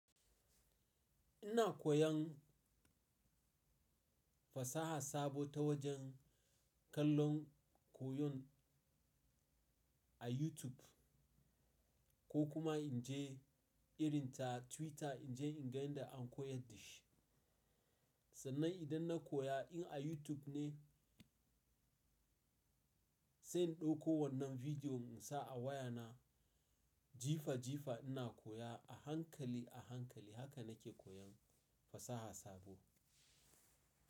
Ina koyan fasaha sabo ta wajen kallon koyon a YouTube ko kuma in je irin ta Twitter in je in ga yadda an koyan dashi. Sannan idan na koya in a YouTube ne, sai in ɗauko wannan bidiyon in sa a wayana jifa jifa ina koya a hankali a hankali. Haka nake koyan fasaha sabo.